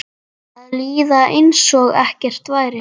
Að líða einsog ekkert væri.